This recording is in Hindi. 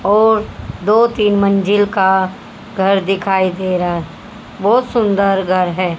और दो तीन मंजिल का घर दिखाई दे रहा है। बहोत सुंदर घर है।